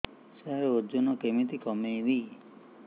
ସାର ଓଜନ କେମିତି କମେଇବି